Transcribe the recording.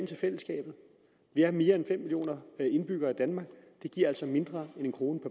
til fællesskabet vi er mere end fem millioner indbyggere i danmark og det giver altså mindre end en kroner